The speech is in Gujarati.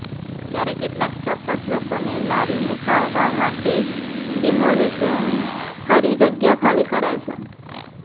ત્યારે કેટલાક ચોક્કસ લોકોને લારી મુકાવવા માટે ડિમોલિશન કરી જગ્યા ખાલી કરાવાય છે